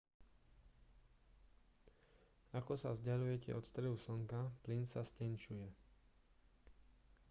ako sa vzdaľujete od stredu slnka plyn sa stenčuje